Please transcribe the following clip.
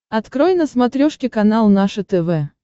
открой на смотрешке канал наше тв